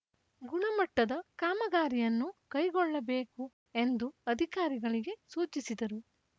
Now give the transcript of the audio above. ಗುಣಮಟ್ಟದ ಕಾಮಗಾರಿಯನ್ನು ಕೈಗೊಳ್ಳಬೇಕು ಎಂದು ಅಧಿಕಾರಿಗಳಿಗೆ ಸೂಚಿಸಿದರು